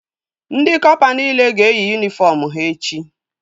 Ndị kọpa nile ga-eyi yunifọm ha echi